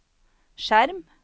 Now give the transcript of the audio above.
skjerm